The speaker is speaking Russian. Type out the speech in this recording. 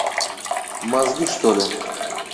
мозги что ли